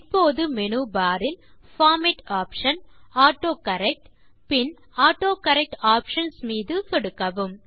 இப்போது menu bar இல் format option autocorrect பின் ஆட்டோகரெக்ட் ஆப்ஷன்ஸ் மீது சொடுக்கவும்